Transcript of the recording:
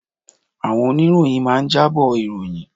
Àwọn Oníròyìn máa ń jábọ̀ ìròyìn